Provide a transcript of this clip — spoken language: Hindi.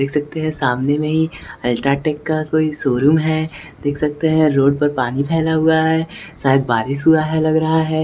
देख सकते हैं सामने में ही अल्ट्रा टेक का कोई शोरूम है देख सकते हैं रोड पर पानी फैला हुआ है शायद बारिश हुआ है लग रहा है।